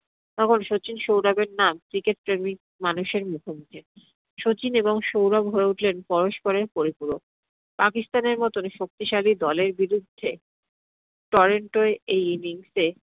তখন শচীন সৌরভের নাম cricket প্রেমী মানুষের মুখে মুখে। শচীন এবং সৌরভ হয়ে উঠলেন পরস্পরের পরিপূরক। পাকিস্থানের মতো শক্তিশালী দলের বিরুদ্ধে এই innings এ